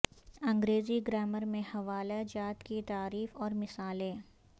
انگریزی گرامر میں حوالہ جات کی تعریف اور مثالیں